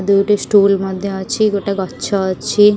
ଦୁଇଟି ଷ୍ଟୁଲ ମଧ୍ୟ ଅଛି ଗୋଟେ ଗଛ ଅଛି ।